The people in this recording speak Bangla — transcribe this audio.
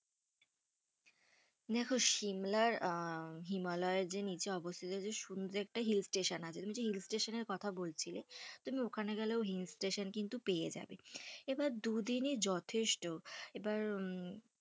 দেখো সিমলার আঃ হিমালয়ে এর যে নিচে এ অবস্থিত সুন্দর যে একটা hill station আছে, তুমি যে hill station এর কথা বলছিলে, তো ওখানে গেলেও কিন্তু hill station পেয়ে যাবে, এবার দু দিনই যথেষ্ট, এবার। হম